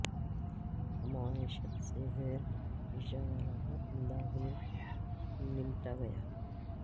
معیشت سے غیر پیشہ وارانہ انداز میں نمٹا گیا